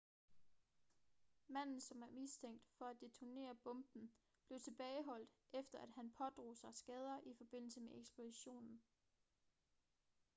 manden som er mistænkt for at detonere bomben blev tilbageholdt efter at han pådrog sig skader i forbindelse med eksplosionen